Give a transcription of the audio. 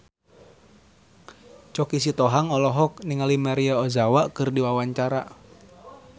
Choky Sitohang olohok ningali Maria Ozawa keur diwawancara